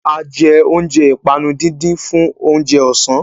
A jẹ oúnjẹ ìpanu díndín fún oúnjẹ ọ̀sán.